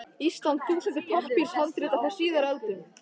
Íslands þúsundir pappírshandrita frá síðari öldum.